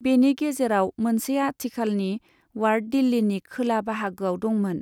बेनि गेजेराव मोनसे आथिखालनि वार्ड दिल्लीनि खोला बाहागोआव दंमोन।